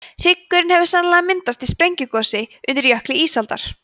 hryggurinn hefur sennilega myndast í sprungugosi undir jökli ísaldar